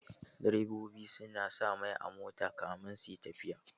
Direbobi sa na sa mai a mota kamin suyi tafiya